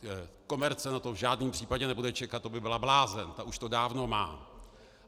Komerce na to v žádném případě nebude čekat, to by byla blázen, ta už to dávno má.